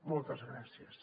moltes gràcies